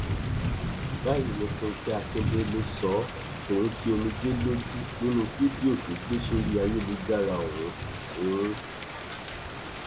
báyìí ni fúnkẹ akíndélé sọ ọ tòun ti omijé lójú nínú fídíò tó gbé sórí ayélujára ọhún ọhún